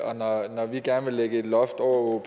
og når vi gerne vil lægge et loft over